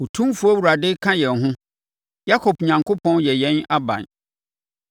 Otumfoɔ Awurade ka yɛn ho. Yakob Onyankopɔn yɛ yɛn aban.